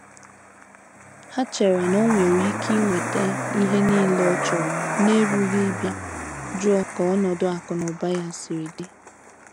Ha chere na onwere Ike inweta ihe niile ọchọrọ n'erughị ịbịa jụọ ka ọnọdụ akụ na ụba ya siri di.